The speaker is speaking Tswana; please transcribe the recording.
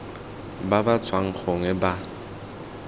ba ba tswang gongwe ba